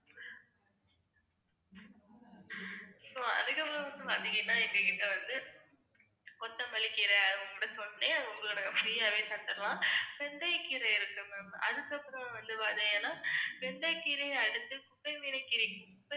அதுக்கப்புறம் வந்து பாத்தீங்கன்னா எங்க கிட்ட வந்து, கொத்தமல்லிக்கீரை உங்க கிட்ட சொன்னேன் இல்லையா அது உங்களோட free யாவே தந்துடலாம். வெந்தயக் கீரை இருக்கு ma'am, அதுக்கப்புறம் வந்து பாத்தீங்கன்னா வெந்தயக் கீரை அடுத்து குப்பைமேனி கீரை